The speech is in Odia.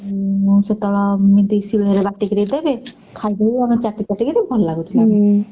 ଉଁ ସେତେବେଳେ ବାଟିକିରି ଦେବେ ଖାଇଦଉ ଆମେ ଚାଟିଚାଟି କିରି ଭଲ ଲାଗୁଥିଲା।